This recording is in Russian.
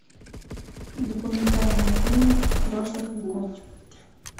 документальные фильмы прошлых веков